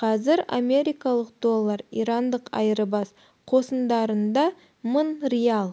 қазір америкалық доллар ирандық айырбас қосындарында мың риал